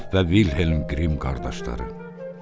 Yakov və Vilhelm Qrim qardaşları.